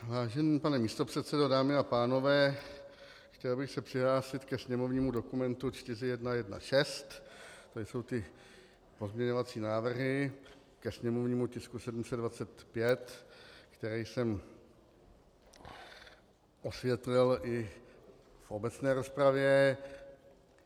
Vážený pane místopředsedo, dámy a pánové, chtěl bych se přihlásit ke sněmovnímu dokumentu 4116, to jsou ty pozměňovací návrhy ke sněmovnímu tisku 725, které jsem osvětlil i v obecné rozpravě.